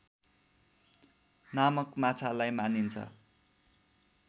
नामक माछालाई मानिन्छ